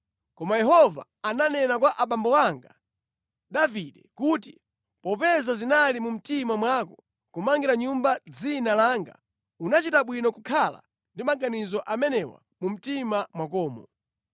Koma Yehova ananena kwa abambo anga, Davide, kuti, ‘Popeza zinali mu mtima mwako kumangira nyumba Dzina langa, unachita bwino kukhala ndi maganizo amenewa mu mtima mwakomo.